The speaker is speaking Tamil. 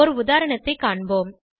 ஒரு உதாரணத்தைக் காண்போம்